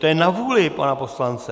To je na vůli pana poslance.